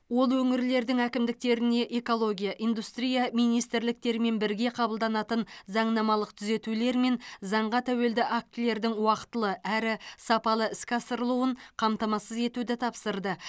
ол өңірлердің әкімдіктеріне экология индустрия министрліктерімен бірге қабылданатын заңнамалық түзетулер мен заңға тәуелді актілердің уақтылы әрі сапалы іске асырылуын қамтамасыз етуді тапсырды